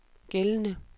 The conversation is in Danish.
gældende